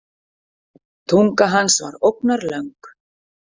Tunga hans var ógnarlöng.